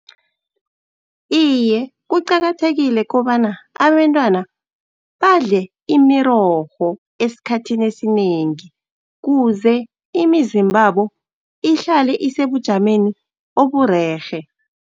Iye, kuqakathekile kobana abentwana badle imirorho esikhathini esinengi, kuze imizimbabo ihlale isebujameni oburerhe.